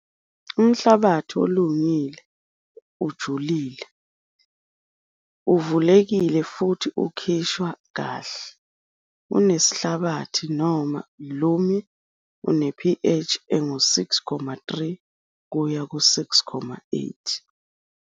Umhlabathi olungile ujulile, uvulekile futhi ukhishwa kahle, unesihlabathi noma u-loamy, une- pH engu-6.3 kuye ku-6.8.